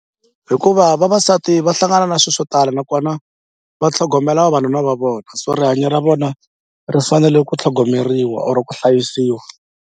Hikuva vavasati va hlangana na swilo swo tala nakona va tlhogomela vavanuna va vona so rihanyo ra vona ri fanele ku tlhogomeriwa or ku hlayisiwa.